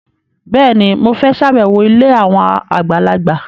Bẹ́ẹ̀ni, mo fẹ́ ṣàbẹ̀wọ̀ ilé àwọn àgbàlagbà